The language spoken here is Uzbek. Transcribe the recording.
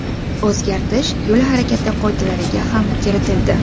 O‘zgartish yo‘l harakati qoidalariga ham kiritildi.